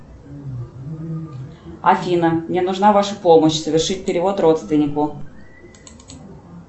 афина мне нужна ваша помощь совершить перевод родственнику